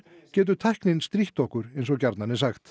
getur tæknin strítt okkur eins og gjarnan er sagt